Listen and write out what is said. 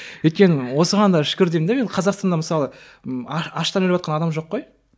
өйткені осыған да шүкір деймін де мен қазақстанда мысалы м аштан өліп жатқан адам жоқ қой